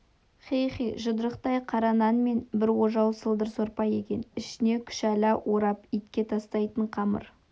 хи-хи жұдырықтай қара нан мен бір ожау сылдыр сорпа екен ішіне күшәла орап итке тастайтын қамыр